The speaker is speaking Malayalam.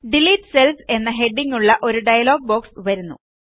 ഡിലീറ്റ് Cellsഎന്ന ഹെഡിംഗ്ങ്ങുള്ള ഒരു ഡയലോഗ് ബോക്സ് വരുന്നു